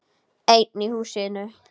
Einn í húsinu.